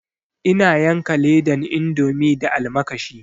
Ina yanka ledan indomi da almakashi